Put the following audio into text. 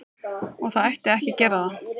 Og það ætti ekki að gera það.